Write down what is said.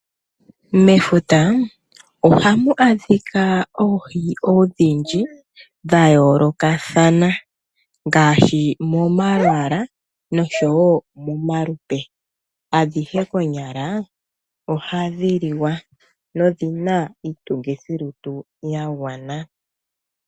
Mefuta ohamu adhika oohi odhindji dhayoolokathana ngaashi momalwaala nosho woo momalupe. Adhishe konyala ohadhi liwa dho odhina iitungithilutu yagwana.